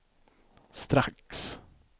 strax